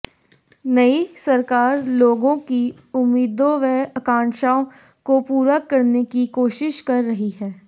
नई सरकार लोगों की उम्मीदों व आकांक्षाओं को पूरा करने की कोशिश कर रही है